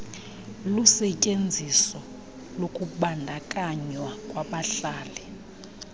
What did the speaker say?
lusetyenziso lokubandakanywa kwabahlali